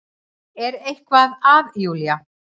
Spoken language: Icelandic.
Er eitthvað að Júlía?